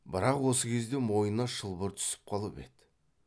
бірақ осы кезде мойнына шылбыр түсіп қалып еді